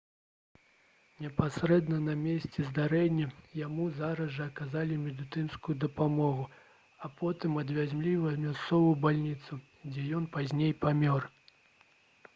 непасрэдна на месцы здарэння яму зараз жа аказалі медыцынскую дапамогу а потым адвезлі ў мясцовую бальніцу дзе ён пазней памёр